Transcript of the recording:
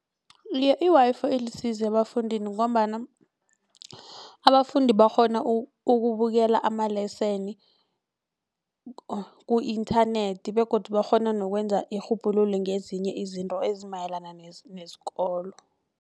I-Wi-Fi ilisizo ebafundini ngombana abafundi bakghona ukubukela ama-lesson ku-internet begodu bakghona nokwenza irhubhululo ngezinye izinto ezimayelana nesikolo.